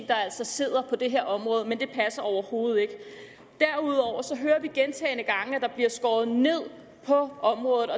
der altså sidder på det her område men det passer overhovedet ikke derudover hører vi gentagne gange at der bliver skåret ned på området